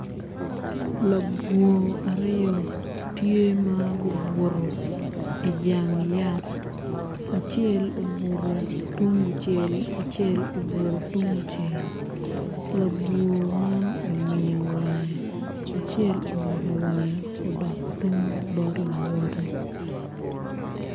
Labwor aryo tye ma gubuto i jang yat acel obuto tung kucel acel obuto tung kucel labwor man omiyo wange acel oloko wange odok tung bot lawote.